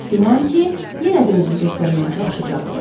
Çox güman ki, yenə də özünü göstərməyə çalışacaqdı.